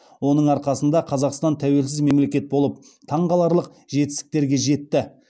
оның арқасында қазақстан тәуелсіз мемелекет болып таңқаларлық жетістіктерге жетті